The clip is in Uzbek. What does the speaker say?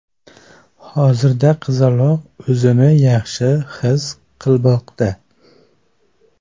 Hozirda qizaloq o‘zini yaxshi his qilmoqda.